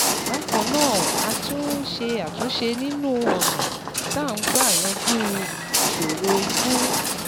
Bákan náà, a tún ń ṣe àtúnṣe nínú ọ̀nà tá à ń gbà yanjú ìṣòro ikú